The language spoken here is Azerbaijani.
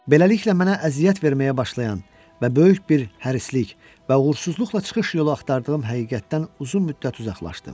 Beləliklə mənə əziyyət verməyə başlayan və böyük bir hərislik və uğursuzluqla çıxış yolu axtardığım həqiqətdən uzun müddət uzaqlaşdım.